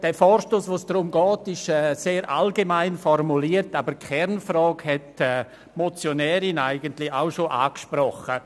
Der Vorstoss, um den es jetzt geht, ist sehr allgemein formuliert, aber die Motionärin hat die Kernfrage angesprochen.